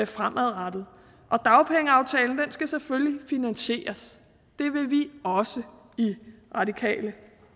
fremadrettet dagpengeaftalen skal selvfølgelig finansieres det vil vi også i radikale